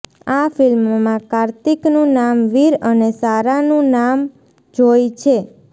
આ ફિલ્મમાં કાર્તિકનું નામ વીર અને સારાનું નામ જોય છે